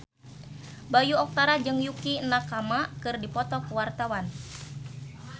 Bayu Octara jeung Yukie Nakama keur dipoto ku wartawan